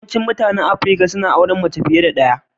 Yawaicin mutanen Afirka suna auren mace fiye da ɗaya.